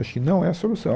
Acho que não é a solução.